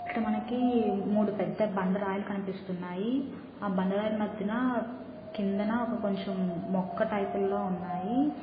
ఇక్కడ మనకి మూడు పెద్ద బండ రాయలు కనిపిస్తున్నాయి ఆ బండ రాయల మధ్యన కిందన ఒక కొంచెం మొక్క టైపు ల్లో ఉన్నాయి.